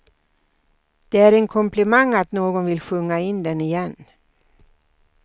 Det är en komplimang att någon vill sjunga in den igen.